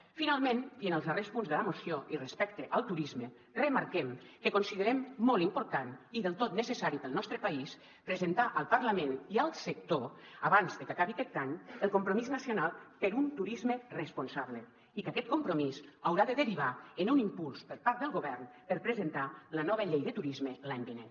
finalment i en els darrers punts de la moció i respecte al turisme remarquem que considerem molt important i del tot necessari per al nostre país presentar al parlament i al sector abans de que acabi aquest any el compromís nacional per un turisme responsable i que aquest compromís haurà de derivar en un impuls per part del govern per presentar la nova llei de turisme l’any vinent